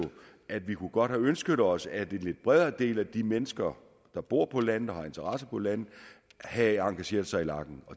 at vi godt kunne have ønsket os at en lidt bredere del af de mennesker der bor på landet og har interesser på landet havde engageret sig i lagen